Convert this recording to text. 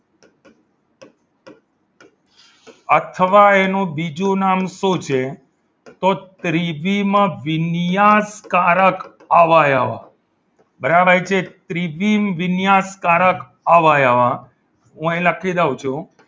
અથવા એનું બીજું નામ શું છે તો થ્રી માં વિન્યાસ કારક અવયવ બરાબર છે ત્રીજી વિજ્ઞાત કાર્ય અવયવ હું અહીં લખી દઉં છું